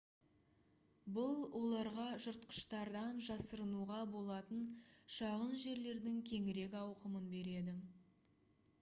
бұл оларға жыртқыштардан жасырынуға болатын шағын жерлердің кеңірек ауқымын береді